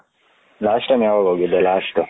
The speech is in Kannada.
last time ಯಾವಾಗ ಹೋಗಿದೆ ಲಾಸ್ಟ